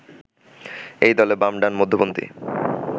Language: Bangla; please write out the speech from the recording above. এই দলে বাম, ডান, মধ্যপন্থি